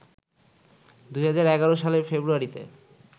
২০১১ সালের ফেব্রুয়ারিতে